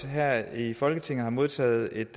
her i folketinget har modtaget et